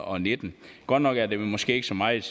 og nitten godt nok er det måske ikke så meget